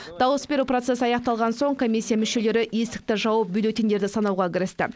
дауыс беру процесі аяқталған соң комиссия мүшелері есікті жауып бюллетеньдерді санауға кірісті